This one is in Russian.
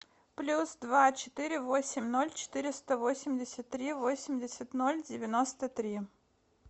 плюс два четыре восемь ноль четыреста восемьдесят три восемьдесят ноль девяносто три